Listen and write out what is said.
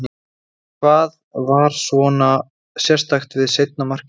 En hvað var svona sérstakt við seinna markið?